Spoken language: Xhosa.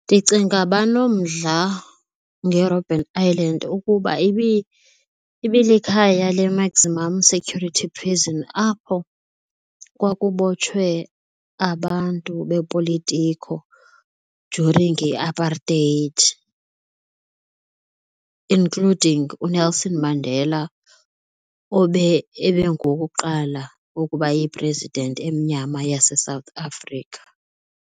Ndicinga banomdla ngeRobben Island ukuba ibilikhaya le-maximum security prison apho kwakubotshwe abantu bepolitiko during iApartheid including uNelson Mandela obe engowokuqala ukuba yi-president emnyama yaseSouth Africa.